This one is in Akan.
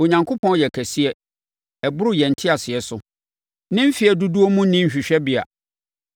Onyankopɔn yɛ kɛseɛ, ɛboro yɛn nteaseɛ so! Ne mfeɛ dodoɔ mu nni hwehwɛbea.